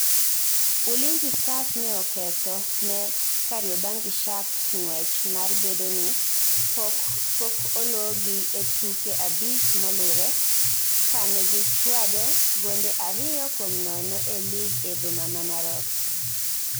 Ulinzi Stars ne oketho ne Kariobangi sharks ngwech mar bedoni poko ologi e tuke abich molure kane gi chwade gonde ariyo kuom nono e lig e boma ma Narok